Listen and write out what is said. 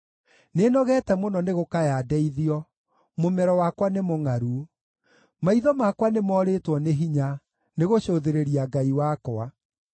Nĩnogete mũno nĩ gũkaya ndeithio; mũmero wakwa nĩ mũngʼaru. Maitho makwa nĩmorĩtwo nĩ hinya nĩgũcũthĩrĩria Ngai wakwa.